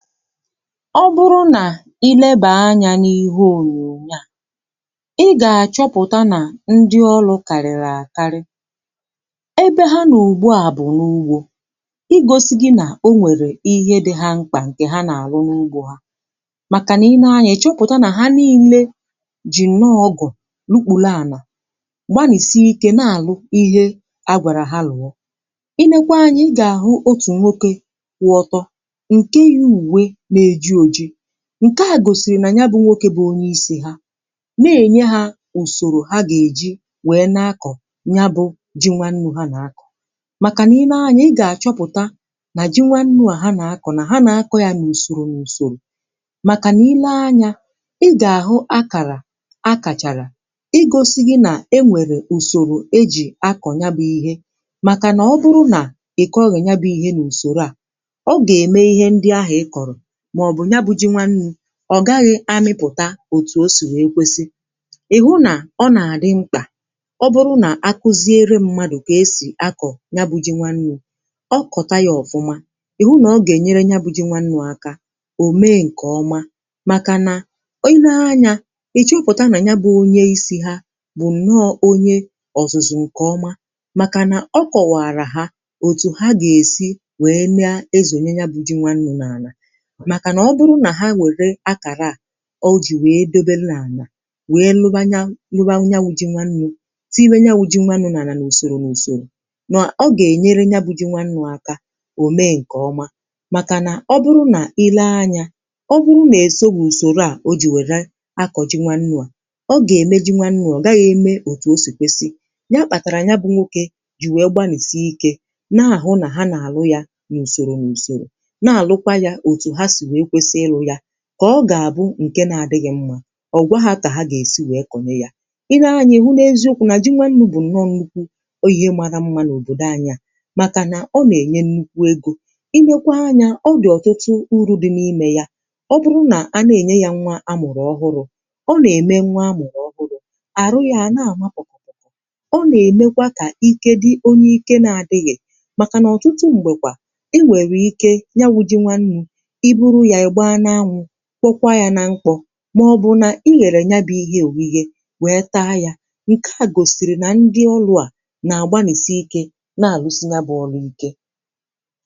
Ọ bụrụ nà i lebà anyȧ n’ihe ònyònyo a, ị gà-àchọpụ̀ta nà ndị ọlụ̇ kàrị̀rị̀ àkarị, ebe ha nọ ùgbu à bụ̀ n’ugbȯ, i gosi gi nà o nwèrè ihe dị ha mkpà ǹkè ha n'àrụ n’ugbȯ ha màkànà i nee anyȧ ị chọpụ̀ta nà ha niile jì nnọọ ọgụ lukpule ànà, gbanìsi ike n'àlụ ihe agwàrà ha lụ̀ọ̀. I lekwa anya ị gà-àhụ otù nwoke kwụ ọtọ nke yi uwe n'eji ojii, ǹke à gòsìrì nà ya bụ̇ nwoke bụ̀ onye isi̇ ha n'ènye hȧ ùsòrò ha gà-èji wèe na-akọ̀ ya bụ̇ ji nwannu̇ ha nà-akọ̀. Màkà n'ilė anya ị gà-àchọpụ̀ta nà ji nwannu̇ à ha nà-akọ̀, ha nà-akọ̇ yȧ n’ùsòrò n’ùsòrò màkà niilė anya ị gà-àhụ akàrà akàchàrà ịgȯsi̇ gị ̇ nà e nwèrè ùsòrò ejì akọ̀ ya bụ̇ ihe màkà nà ọ bụrụ nà ị̀ kọghị̇ nya bụ̇ ihe n’ùsòrò à, ọ̀ ga eme ihe ndi ahu ị koro ma ọbụ ya bu ji nwannu o gaghị̇ amịpụ̀ta òtù o sì wee kwesị. Ịhụ nà ọ nà-àdị mkpà ọ bụrụ nà akụziere mmadụ̀ kà esì akọ̀ ya bụ jị nwannụ̇, ọ kọ̀ta yȧ ọ̀fụma, ị̀hụ nà ọ gà-ènyere ya bụ jị nwannụ̇ akȧ ò mee ǹkè ọma. Màkà nà ine anyȧ, ị̀ chọpụ̀ta nà ya bụ onye isi̇ ha bụ̀ nno onye ọ̀zụ̀zụ̀ ǹkè ọma màkà nà ọ kọ̀wàrà ha òtù ha gà-èsi wèe mee ezònye ya bụjị nwannụ̇ n’àlà. màkà nà ọbụrụ nà ha ewere akàrà à o jì wèe dobelụ ànà wèe lụbanyȧ lụbanya wụ ji nwannu̇ tinye ya wu ji nwannu̇ nà ànà nà usòrò n’ùsòrò nà ọ gà-ènyere nya bụ ji nwannu̇ àkà ò mee ǹkè ọma. Màkà nà ọ bụrụ nà i lee anyȧ ọ bụrụ nà èsoghi ùsòrò à o jì wèrè akọ̀ ji nwannu̇ à ọ gà-ème ji nwannu̇ à ọ gà-ème òtù o ha si wèkwesi, ya kpàtàrà ya bụ̇ nwokė jì wèe gbanìsie ikė na-àhụ nà ha nà àlụ yȧ nà ùsòrò n’ùsòrò n’alu kwa ya otu ha si wee kwesị ịlụ ya kà ọ gà-àbụ ǹke na-adịghị̇ mma ọ̀gwa ha kà ha gà-èsi wèe kọnye ya. I nee anya ị̇ hụ n’eziokwu̇ nà ji nwȧnnụ̇ bụ̀ nnọ nnukwu ihe màrà mma n’òbòdò anyị̇ à màkà nà ọ nà-ènyè nnukwu egȯ. I lekwa anyȧ, ọ dị̀ ọ̀tụtụ uru̇ dị n’imė ya ọ bụrụ nà a na-ènye ya nwa amụ̀rọ̀ ọhụrụ̇. Ọ n’ème nwa amụ̀rọ̀ ọbụrụ̇ àrụ ya a n’àmapụ̀, ọ nà-èmekwa kà ike dị onye ike na-adịghị̇ màkà nà ọ̀tụtụ m̀gbèkwà i nwèrè ike ya wu ji nwannụ̇, i bụrụ ya, ị gbaa n’anwụ kwọkwa yȧ nà mkpọ̇ màọ̀bụ̀ nà i ghèrè ya bụ̇ ihe òghighė wee taa yȧ. Nkè a gòsìrì nà ndị ọlụ à n’àgbanìsie ike n’àlụsị ya bụ̇ ọlụ̇ ike.